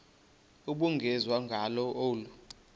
ubungenziwa ngalo olu